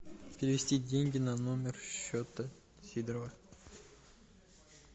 перевести деньги на номер счета сидорова